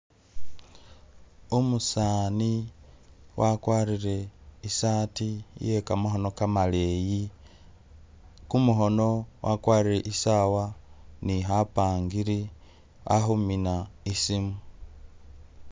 Umusaani wakwarire i'sati ye kamakhono kamaleyi, kumukhono wakwarire i'sawa ni khapangiri a khumina i'simu.